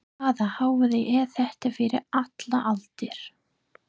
Hvaða hávaði er þetta fyrir allar aldir?